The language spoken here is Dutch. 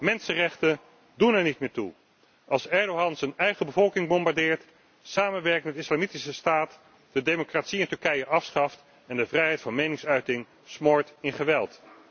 Mensenrechten doen er niet meer toe als Erdoğan zijn eigen bevolking bombardeert, samenwerkt met Islamitische Staat, de democratie in Turkije afschaft en de vrijheid van meningsuiting smoort in geweld.